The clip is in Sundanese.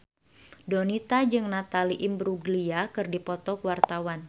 Donita jeung Natalie Imbruglia keur dipoto ku wartawan